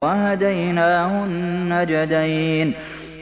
وَهَدَيْنَاهُ النَّجْدَيْنِ